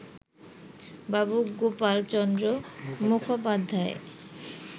Babu Gopal Chandra মুখোপাধ্যায়ই